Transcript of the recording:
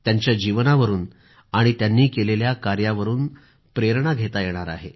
त्यांच्या जीवनावरून आणि त्यांनी केलेल्या कार्यावरून प्रेरणा घेता येणार आहे